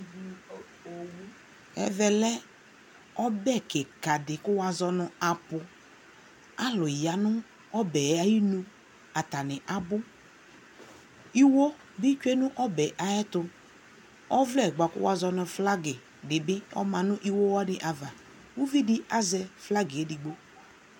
ɛvɛ kɛ ɛƒʋ kʋ ɛvidzɛ ni akɔ nɛ bʋɛlɛ, alʋɛdini aba kʋ aba kɛ bʋɛlɛ nʋ ɛvidzɛ wani, aka dʋnɔ ka ɛvidzɛ wani kʋ ɛvidzɛ wani kala, ɛdigbɔ azɛ ɛkʋ yɛsɛ dʋnʋ ali kʋ ɔka dʋnɔ, adʋ awʋ wɛ, ɛdibi adʋ awʋ vɛ